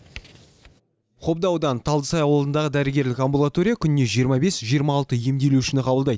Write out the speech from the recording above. қобда ауданы талдысай ауылындағы дәрігерлік амбулатория күніне жиырма бес жиырма алты емделушіні қабылдайды